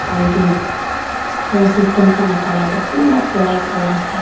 aru edu sound system khan la colour toh pura black Colour ase.